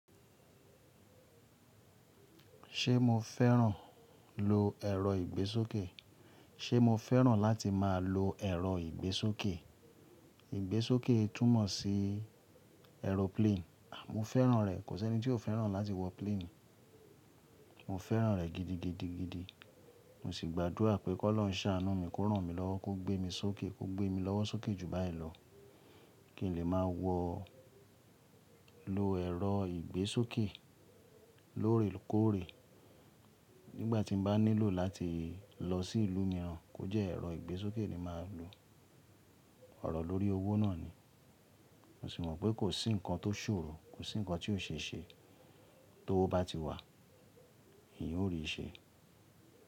Ṣé mo fẹ́ràn lo ẹ̀rọ ìgbésókè? Ṣé mo fẹ́ràn láti máa lo ẹ̀rọ ìgbésókè? Ìgbésókè túmọ̀ sí aeroplane. Mo fẹ́ràn rẹ̀. Kò sí ẹni tí ó fẹ́ràn láti wọ plane. Mo fẹ́ràn rẹ̀ gidigidigidi. Mo sì gbádùra àpé kọ́ ọlọ́uń ṣàánú mi, kó rán mi lọ́wọ́, kó gbé mi sókè, kó gbé mi lọ́wọ́ sókè jù báyìí lọ, kí n lè máa wọ lo ẹ̀rọ ìgbésókè lóòrèkóòrè. Nígbà tí mo bá nílò láti lọ sí ìlú mìíràn, kó jẹ́ ẹ̀rọ ìgbésókè ni màá lo. Ọ̀rọ̀ lórí owó náà ni. Mo sì mọ̀ pé kò sí nǹkan tó ṣòro, kò sí nǹkan tí ò ṣe ṣe tówo bá ti wà, èèyan ó rí i ṣe.